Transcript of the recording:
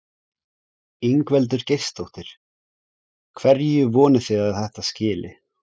Ingveldur Geirsdóttir: Hverju vonið þið að þetta skili?